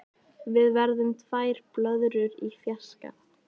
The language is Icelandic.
Við verðum tvær blöðrur í fjarska.